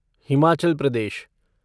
Himachal Pradesh